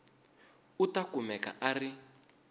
u ta kumeka a ri